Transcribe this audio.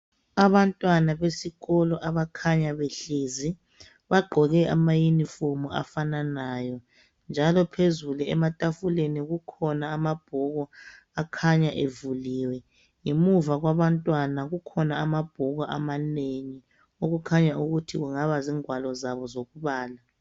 Abantwana besikolo abakhanya behlezi bagqoke ama uniform afananayo. Njalo phezulu ematafuleni kukhona amabhuku akhanya evuliwe. Ngemuva kwabantwana kukhona amabhuku amanengi. Okukhanya ukuthi kungaba zingwalo zabo zokubala.